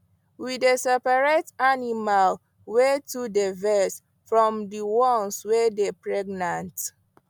we dey seperate animal wey too dy vex from the ones wey dey pregnant